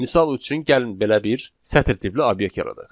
Misal üçün, gəlin belə bir sətr tipli obyekt yaradaq.